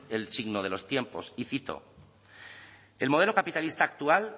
el signo de los tiempos y cito el modelo capitalista actual